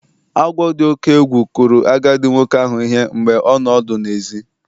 Agwọ dị oke egwu kụrụ agadi nwoke ahụ ihe mgbe ọ nọ ọdụ n'èzí